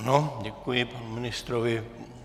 Ano, děkuji panu ministrovi.